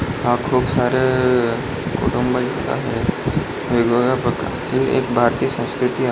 हा खूप सारे कुटुंब दिसत आहेत वेगवेगळ्या प्रकारची ही एक भारतीय संस्कृति आ --